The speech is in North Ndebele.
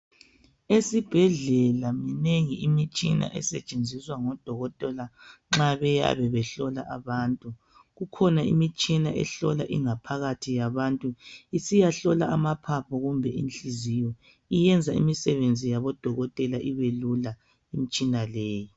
Esibhedlela minengi imithina esetshenziswq ngodokotela nxa bayabe behlola bantu. Kukhona imitshina ehlola ingaohakathi yabantu, isiyahlola maphaphu kumbe inhliziyo. Iyenza imisebenzi yabodokotela ibelula imitshina leyi.